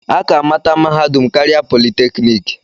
A ka-amata mahadum karịa politeknik.